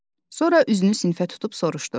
Sonra üzünü sinfə tutub soruşdu: